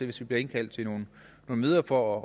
hvis vi bliver indkaldt til nogle møder for